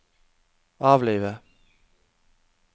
avlive